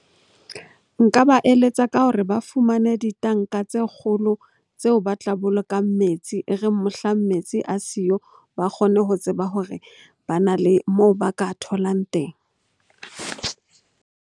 Nka ba eletsa ka hore ba fumane ditanka tse kgolo tseo ba tla bolokang metsi. E reng mohlang metsi a siyo, ba kgone ho tseba hore bana le moo ba ka tholang teng.